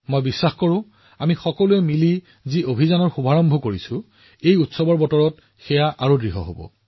মই নিশ্চিত যে আমি সকলোৱে একেলগে আৰম্ভ কৰা অভিযানটো এইবাৰ উৎসৱবোৰত আৰু অধিক শক্তিশালী হব